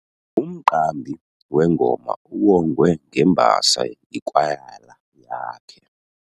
Umqambi wengoma uwongwe ngembasa yikwayala yakhe.